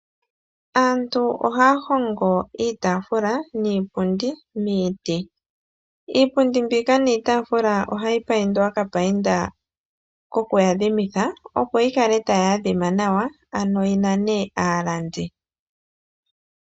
Aantu ohaya hongo iitaafula niipundi miiti. Iipundi mbika niitaafula ohayi paindwa okapainda koku yi adhimitha, opo yi kale tayi adhima nawa, ano yi nane aalandi.